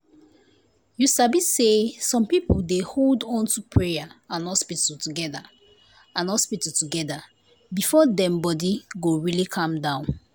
you sabi say some people dey hold onto prayer and hospital together and hospital together before dem body go really calm down